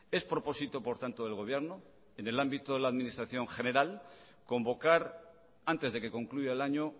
es propósito por tanto del gobierno en el ámbito de la administración general convocar antes de que concluya el año